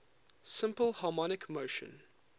simple harmonic motion